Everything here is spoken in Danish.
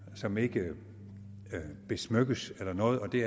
som ikke besmykkes eller noget og det